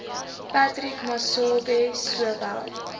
patrick masobe sowel